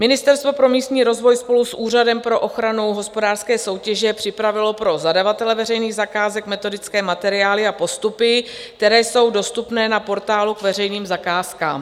Ministerstvo pro místní rozvoj spolu s Úřadem pro ochranu hospodářské soutěže připravilo pro zadavatele veřejných zakázek metodické materiály a postupy, které jsou dostupné na portálu k veřejným zakázkám.